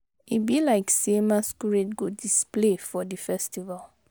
E be like sey masquerade go display for di festival.